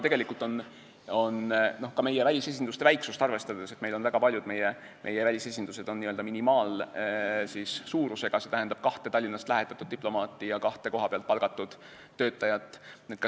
Tegelikult on väga paljud välisesindused n-ö minimaalsuurusega, mis tähendab kahte Tallinnast lähetatud diplomaati ja kahte kohapealt palgatud töötajat.